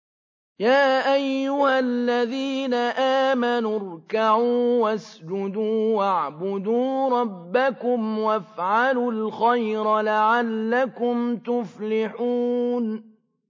يَا أَيُّهَا الَّذِينَ آمَنُوا ارْكَعُوا وَاسْجُدُوا وَاعْبُدُوا رَبَّكُمْ وَافْعَلُوا الْخَيْرَ لَعَلَّكُمْ تُفْلِحُونَ ۩